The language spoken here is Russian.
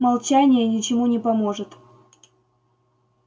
молчание ничему не поможет